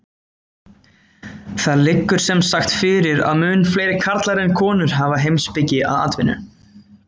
Það liggur sem sagt fyrir að mun fleiri karlar en konur hafa heimspeki að atvinnu.